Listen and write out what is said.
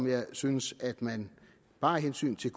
jeg synes at man bare af hensyn til